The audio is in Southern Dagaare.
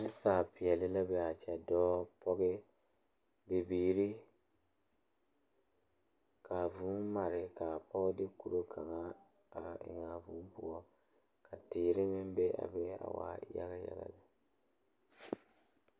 Nasaapeɛle la zeŋ die kaŋa poɔ a eŋ nyɛboɔre bontuure ka bamine su kpare sɔglɔ ka bamine su kpare peɛle ka bamine waa yaga yaga.